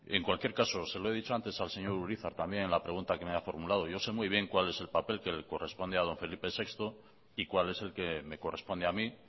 en cualquier caso se lo he dicho antes al señor urizar también en la pregunta que me ha formulado yo sé muy bien cuál es el papel que le corresponde a don felipe sexto y cuál es el que me corresponde a mí